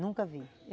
Nunca vi.